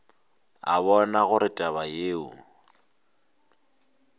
a bona gore taba yeo